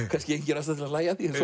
kannski engin ástæða til að hlæja að því